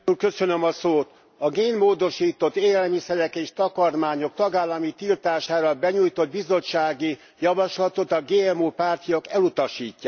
A génmódosított élelmiszerek és takarmányok tagállami tiltására benyújtott bizottsági javaslatot a GMO pártiak elutasítják.